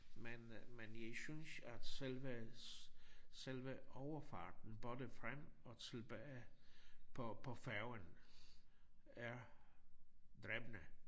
Men men jeg synes at selve selve overfarten både frem og tilbage på på færgen er dræbende